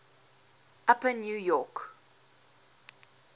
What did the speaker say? upper new york